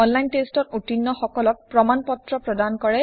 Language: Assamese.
অন লাইন টেষ্টত উত্তীৰ্ণ সকলক প্ৰমান পত্ৰ প্ৰদান কৰে